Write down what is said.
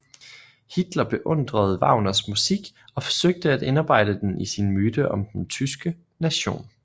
Hitler beundrede Wagners musik og forsøgte at indarbejde den i sin myte om den tyske nation